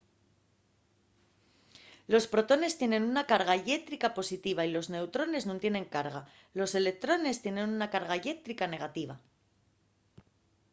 los protones tienen una carga llétrica positiva y los neutrones nun tienen carga los electrones tienen una carga llétrica negativa